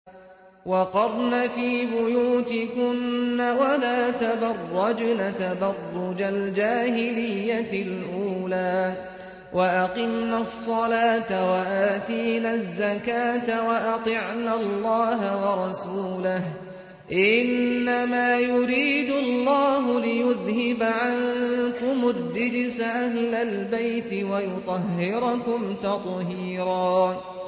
وَقَرْنَ فِي بُيُوتِكُنَّ وَلَا تَبَرَّجْنَ تَبَرُّجَ الْجَاهِلِيَّةِ الْأُولَىٰ ۖ وَأَقِمْنَ الصَّلَاةَ وَآتِينَ الزَّكَاةَ وَأَطِعْنَ اللَّهَ وَرَسُولَهُ ۚ إِنَّمَا يُرِيدُ اللَّهُ لِيُذْهِبَ عَنكُمُ الرِّجْسَ أَهْلَ الْبَيْتِ وَيُطَهِّرَكُمْ تَطْهِيرًا